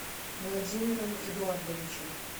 владимиром эдуардовичем